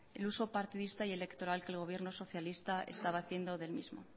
el uso partidista y electoral que el gobierno socialista estaba haciendo del mismo